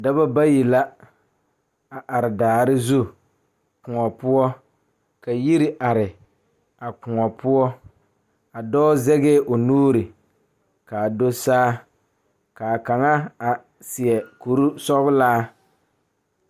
Dɔɔba ne Pɔgeba kaa pɔge nyoŋ dɔɔ nu ka katawiɛ Kyaara ka dɔɔ a su dagakparo ka pɔge a gyere wagye a le kodo kaa dɔɔba a gyere wagyere.